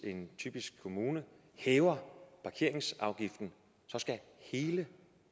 typisk en kommune hæver parkeringsafgiften så skal hele